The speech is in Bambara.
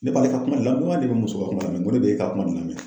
Ne b'ale ka kuma le lamɛn ne bɛ n muso ka kuma lamɛnko n ko ne b'e ka kuma de lamɛn.